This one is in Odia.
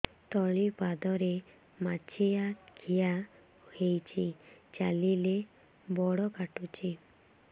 ତଳିପାଦରେ ମାଛିଆ ଖିଆ ହେଇଚି ଚାଲିଲେ ବଡ଼ କାଟୁଚି